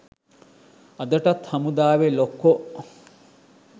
අදටත් හමුදාවෙ ලොක්කො